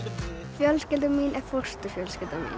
fjölskylda mín er fóstur fjölskylda mín